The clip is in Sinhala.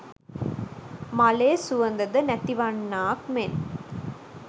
මලේ සුවඳ ද නැතිවන්නාක් මෙන්